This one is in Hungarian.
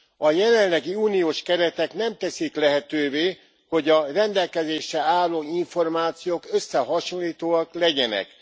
A jelenlegi uniós keretek nem teszik lehetővé, hogy a rendelkezésre álló információk összehasonlítóak legyenek.